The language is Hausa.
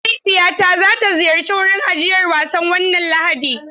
Mahaifiyata za ta ziyarci wurin ajiyar wasan wannan Lahadi.